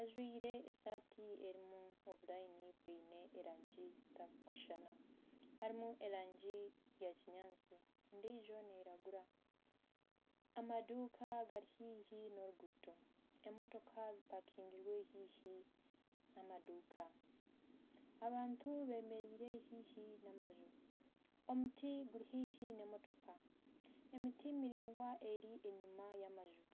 ajwaire esaati erimu obulayini bwine erangi zitarikushushana harimu rangi ya kinyaatsi endiijo neyiragura, amaduuka gari haihi n'oruguuto emotooka zimpakingirwe haihi n'amaduuka. Abantu bemereire haihi n'amanju, omuti guri haihi n'emotooka, emiti miraingwa eri enyima y'amanju.